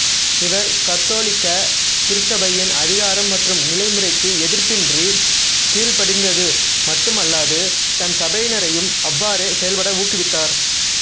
இவர் கத்தோலிக்க திருச்சபையின் அதிகாரம் மற்றும் நிலைமுறைக்கு எதிர்ப்பின்றி கீழ்படிந்தது மட்டும் அல்லாது தன் சபையினரையும் அவ்வாறே செயல்பட ஊக்குவித்தார்